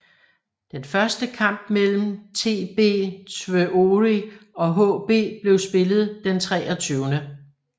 Den første kamp mellem TB Tvøroyri og HB blev spillet den 23